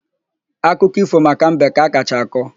Akụkọ ífò maka mbe ka a kacha akọ.